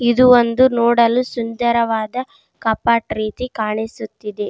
ಇದು ಒಂದು ನೋಡಲು ಸುಂದರವಾದ ಕಾಪಾಟ್ ರೀತಿ ಕಾಣಿಸುತಿದೆ.